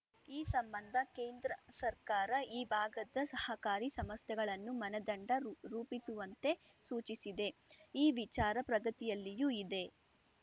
ಈ ಸಂಬಂಧ ಕೇಂದ್ರ ಸರ್ಕಾರ ಈ ಭಾಗದ ಸಹಕಾರಿ ಸಮಸ್ಥೆಗಳನ್ನು ಮಾನದಂಡ ರೂಪ್ ರೂಪಿಸುವಂತೆ ಸೂಚಿಸಿದೆ ಈ ವಿಚಾರ ಪ್ರಗತಿಯಲ್ಲಿಯೂ ಇದೆ